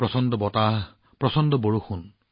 প্ৰচণ্ড বতাহ প্ৰচণ্ড বৰষুণ